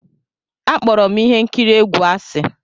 Akpọrọ m ihe nkiri egwu asị.